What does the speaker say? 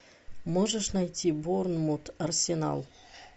можешь найти борнмут арсенал